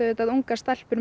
ungar stelpur